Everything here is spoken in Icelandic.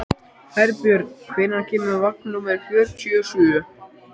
Herbjörn, hvenær kemur vagn númer fjörutíu og sjö?